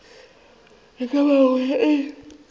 e ka bago ye e